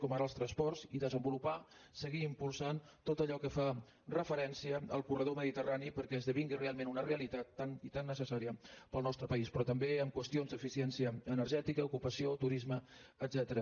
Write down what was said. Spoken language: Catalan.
com ara els transports i desenvolupar seguir impulsant tot allò que fa referència al corredor mediterrani perquè esdevingui realment una realitat tan i tan necessària per al nostre país però també en qüestions d’eficiència energètica ocupació turisme etcètera